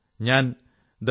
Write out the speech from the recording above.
ഞാൻ thebetterindia